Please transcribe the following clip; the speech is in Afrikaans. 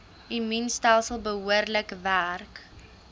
immuunstelsel behoorlik werk